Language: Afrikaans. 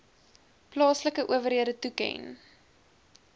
plaaslike owerhede toeken